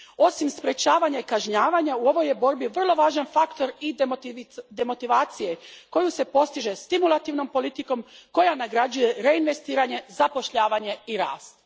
Osim sprječavanja i kažnjavanja, u ovoj je borbi vrlo važan faktor i demotivacija koja se postiže stimulativnom politikom koja nagrađuje reinvestiranje, zapošljavanje i rast.